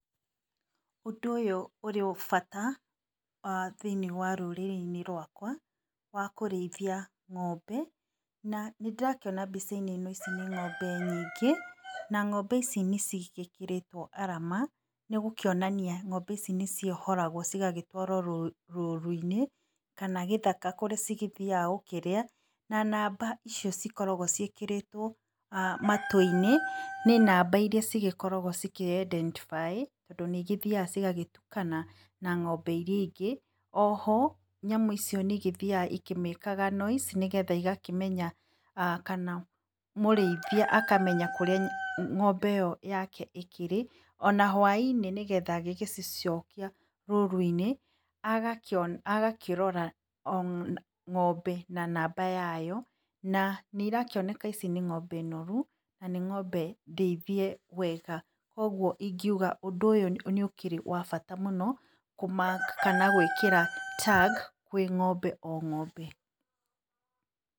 Ũndũ ũyũ ũrĩ bata, thĩinĩ wa rũrĩrĩ-inĩ rwakwa, wa kũrĩithia ng'ombe, na nĩndĩrakiona mbica-inĩ ĩno nĩ ng'ombe nyingĩ, na ng'ombe ici nĩcigĩkirirwo arama, nĩgũkionania ng'ombe ici nĩciohoragwo cigagĩtwarwo rũru-inĩ, kana gĩthaka kũrĩa cigĩthiaga kũrĩa na namba icio cioragwo cĩikĩrĩtwo, matũ-inĩ nĩ namba iria cĩgĩkoragwo cĩkĩ identify tondũ nĩigĩthiaga cigagĩtukana na ng'ombe iria ĩngĩ oho nyamũ icio nĩigĩthiaga ĩkĩmĩkaga noise nĩgetha igakĩmenya, kana mũrĩithia, akamenya kũrĩa ng'ombe yake ĩkĩrĩ ona hwai-inĩ nĩgetha agĩgĩcicokia rũrũ-inĩ, agakĩrora ng'ombe na namba yayo na nĩ irakĩoneka ici nĩ ng'ombe noru na níĩng'ombe ndĩithie wega kwa ũgũo ingiuga ũndũ ũyũ nĩ ũkĩrĩ wa bata mũno kũ mark kana gwĩkĩra tag kwĩ ng'ombe o ng'ombee.